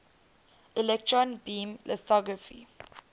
electron beam lithography